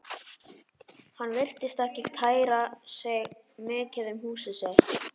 Hann virtist ekki kæra sig mikið um húsið sitt.